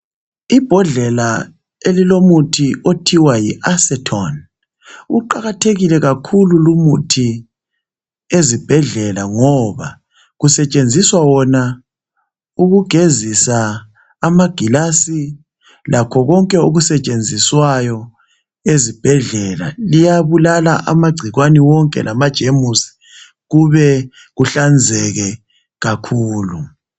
Ibhodlela elilomuthi othiwa yiacetone. Uqakathekile kakhulu lumuthi ezibhedlela ngoba kusetshenziswa wona ukugezisa amagilasi lakho konke okusetshenziswayo ezibhedlela. Iyabulala amagcikwane wonke lama jemusi kube kuhlanzeke kakhulu.